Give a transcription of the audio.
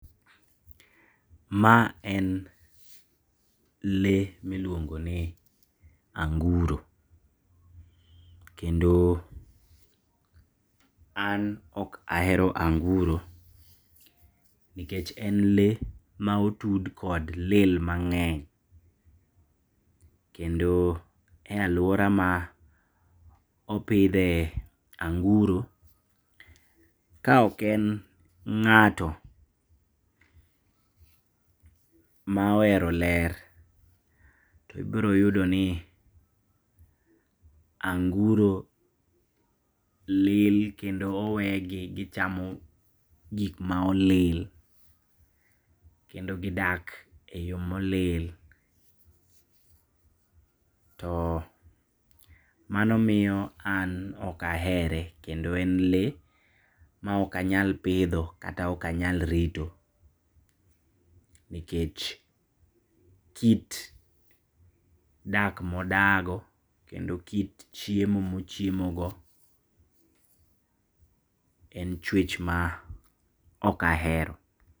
Ma en lee miluongoni anguro, kendo an okahero anguro, nikech en lee maotud kod lil mang'eny, kendo e aluora maopidhe anguro, ka oken ng'ato maohero ler, to ibiroyudoni anguro lil kendo owegi gichamo gikma olil, kendo gidak eyo molil, to manomiyo an okahere kendo en lee maokanyal pidho kata okanyal rito, nikech kit dak modago kendo kit chiemo mochiemogo en chwech maokahero.